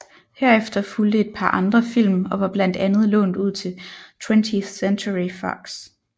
Herefter fulgte et par andre film og var blandt andet lånt ud til 20th Century Fox